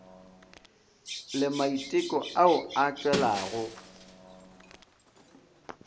le maiteko ao a tšwelago